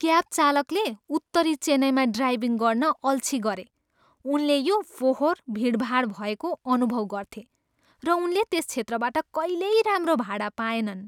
Cab चालकले उत्तरी चेन्नईमा ड्राइभिङ गर्न अल्छि गरे। उनले यो फोहोर, भिडभाड भएको अनुभव गर्थे, र उनले त्यस क्षेत्रबाट कहिल्यै राम्रो भाडा पाएनन्।